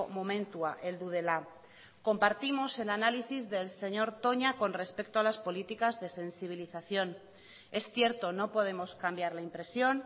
momentua heldu dela compartimos el análisis del señor toña con respecto a las políticas de sensibilización es cierto no podemos cambiar la impresión